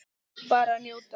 Bara njóta.